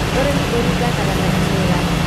Ũrĩmi ũringanaga na imera